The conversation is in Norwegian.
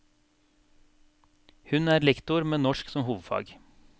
Hun er lektor med norsk som hovedfag.